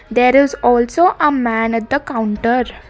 There is also a man at the counter.